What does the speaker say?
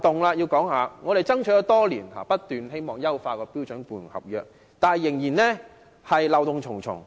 雖然我們已爭取多年，一直希望能優化標準僱傭合約，但該合約仍然漏洞重重。